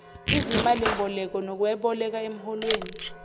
izimalimboleko nokweboleka emholweni